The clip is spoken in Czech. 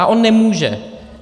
A on nemůže.